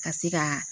Ka se ka